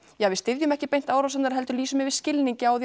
ja við styðjum ekki beint árásirnar heldur lýsum yfir skilningi á því